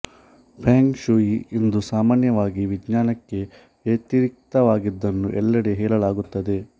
feng shui ಇಂದು ಸಾಮಾನ್ಯವಾಗಿ ವಿಜ್ಞಾನಕ್ಕೆ ವ್ಯತಿರಿಕ್ತವಾಗಿದ್ದನ್ನು ಎಲ್ಲೆಡೆ ಹೇಳಲಾಗುತ್ತದೆ